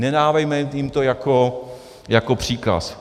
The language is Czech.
Nedávejme jim to jako příkaz.